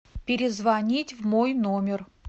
перезвонить в мой номер